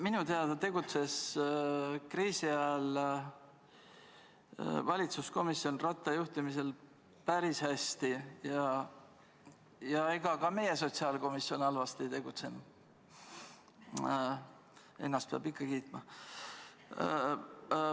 Minu teada tegutses kriisi ajal valitsuskomisjon Ratta juhtimisel päris hästi ja ega ka meie sotsiaalkomisjon halvasti tegutsenud – ennast peab ikka kiitma.